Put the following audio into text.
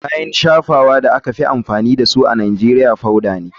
Kayan shafawa da aka fi amfani da su a nigeria powader ne.